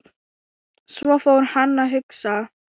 Svo fór hann að hugsa.